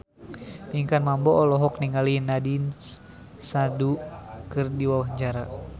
Pinkan Mambo olohok ningali Nandish Sandhu keur diwawancara